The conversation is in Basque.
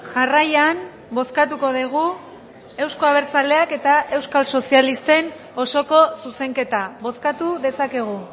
jarraian bozkatuko dugu euzko abertzaleak eta euskal sozialisten osoko zuzenketa bozkatu dezakegu